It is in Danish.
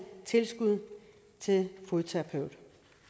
tilskud til fodterapeut